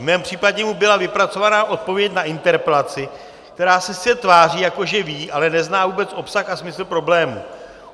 V mém případě mu byla vypracovaná odpověď na interpelaci, která se sice tváří, jako že ví, ale nezná vůbec obsah a smysl problému.